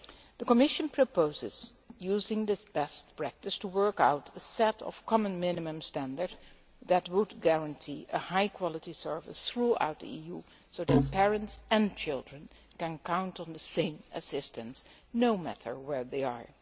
The Commission proposes using this best practice to work out a set of common minimum standards that would guarantee a high quality service throughout the EU so that parents and children can count on the same assistance no matter where they are.